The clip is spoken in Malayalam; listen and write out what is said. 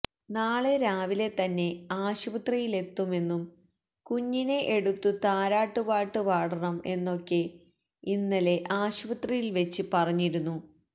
നാളെ രാവിലെ തന്നെ ആശുപത്രിയിലെത്തുമെന്നും കുഞ്ഞിനെ എടുത്ത് താരാട്ടു പാട്ട് പാടണം എന്നൊക്കെ ഇന്നലെ ആശുപത്രിയിൽ വച്ച് പറഞ്ഞിരുന്നു